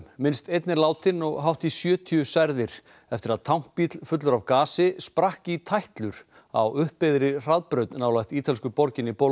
minnst einn er látinn og hátt í sjötíu særðir eftir að fullur af gasi sprakk í tætlur á uppbyggðri hraðbraut nálægt ítölsku borginni